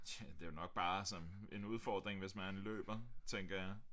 Tja det er jo nok bare som en udfordring hvis man løber tænker jeg